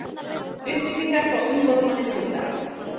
Upplýsingar frá umboðsmanni skuldara